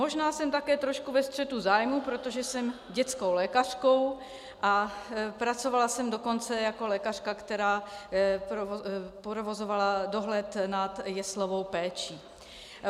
Možná jsem také trošku ve střetu zájmů, protože jsem dětskou lékařkou a pracovala jsem dokonce jako lékařka, která provozovala dohled nad jeslovou péčí.